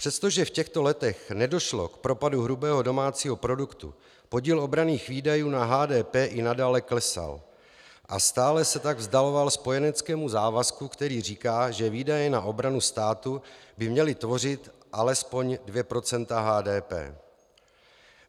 Přestože v těchto letech nedošlo k propadu hrubého domácího produktu, podíl obranných výdajů na HDP i nadále klesal, a stále se tak vzdaloval spojeneckému závazku, který říká, že výdaje na obranu státu by měly tvořit alespoň 2 % HDP.